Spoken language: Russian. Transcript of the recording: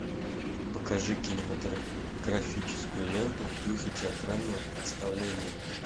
покажи кинематографическую ленту в духе театрального представления